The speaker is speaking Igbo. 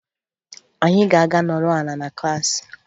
Anyị ga-aga nọrọ ala na klaasị